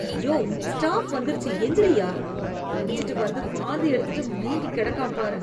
யோவ், stop வந்துருச்சு எந்திரிய்யா.... குடிச்சுட்டு வந்து வாந்தி எடுத்துட்டு மயங்கிகெடக்கான் பாரு...